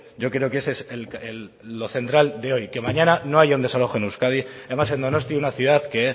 yo creo que ese es lo central de hoy que mañana no haya un desalojo en euskadi y además en donosti una ciudad que